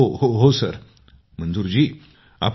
मंजूर जी जी सर जी सर